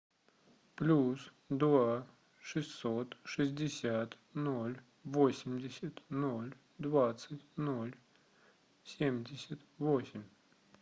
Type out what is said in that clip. плюс два шестьсот шестьдесят ноль восемьдесят ноль двадцать ноль семьдесят восемь